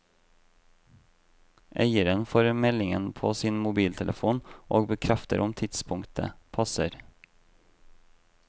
Eieren får meldingen på sin mobiltelefon og bekrefter om tidspunktet passer.